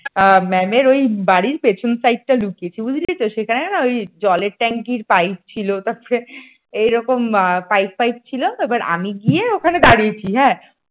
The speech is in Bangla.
ম্যামের এর ওই বাড়ির পিছন side টা লুকিয়েছি বুঝলি তো সেখানে না জলের ট্যাংকের পাইপ ছিল তারপরে এইরকম পাইপ পাইপ ছিল তারপরে আমি গিয়ে ওখানে দাঁড়িয়েছি হ্যাঁ